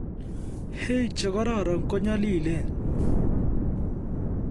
Hay che kororon konyolilen